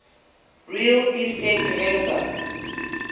real estate developer